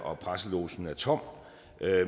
og presselogen er tom